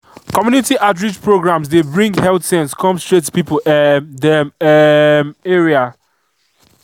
community outreach programs dey bring health sense come straight to people um dem um area